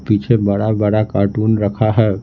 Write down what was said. पीछे बड़ा-बड़ा कार्टून रखा है।